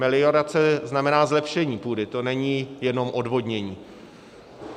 Meliorace znamená zlepšení půdy, to není jenom odvodnění.